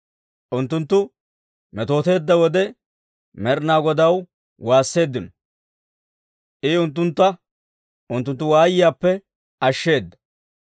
Unttunttu metooteedda wode, Med'inaa Godaw waasseeddino; I unttuntta unttunttu waayiyaappe ashsheeda.